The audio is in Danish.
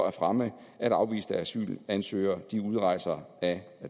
at fremme at afviste asylansøgere udrejser af